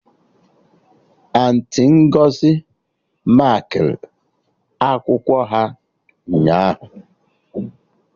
Auntị Ngọzi makịrị akwụkwọ ha ụnyaahụ